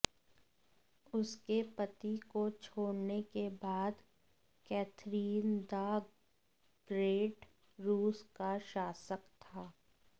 उसके पति को छोड़ने के बाद कैथरीन द ग्रेट रूस का शासक था